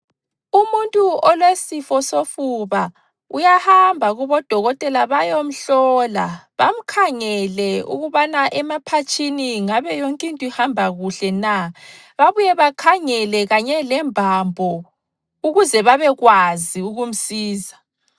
Umuntu olesifo sofuba uyahamba kobodokotela bayomhlola bamkhangele ukubana emaphatshini ngabe yonkinto ihamba kuhle na, babuye bekhangela kanye lembambo ukuze babekwazi ukumsiza.